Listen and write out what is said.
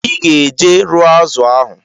Iga eje rụọ azu ahu